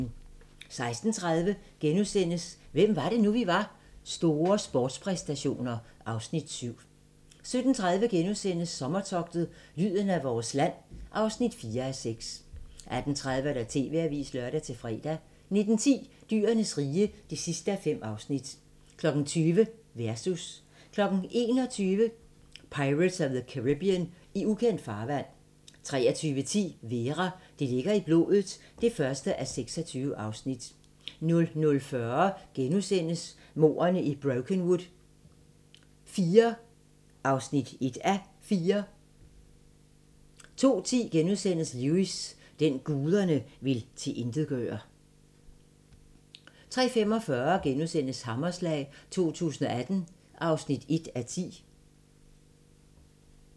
16:30: Hvem var det nu, vi var? - store sportspræstationer (Afs. 7)* 17:30: Sommertogtet - lyden af vores land (4:6)* 18:30: TV-avisen (lør-fre) 19:10: Dyrenes rige (5:5) 20:00: Versus 21:00: Pirates of the Caribbean: I ukendt farvand 23:10: Vera: Det ligger i blodet (1:26) 00:40: Mordene i Brokenwood IV (1:4)* 02:10: Lewis: Den, guderne vil tilintetgøre * 03:45: Hammerslag 2018 (1:10)*